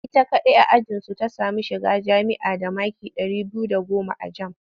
Ita kaɗai a ajinsu ta sami shiga jami'a da maki ɗari biyu da goma a jam